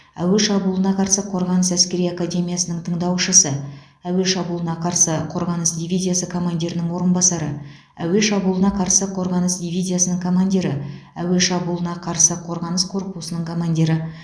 әуе шабуылына қарсы қорғаныс әскери академиясының тыңдаушысы әуе шабуылына қарсы қорғаныс дивизиясы командирінің орынбасары әуе шабуылына қарсы қорғаныс дивизиясының командирі әуе шабуылына қарсы қорғаныс корпусының командирі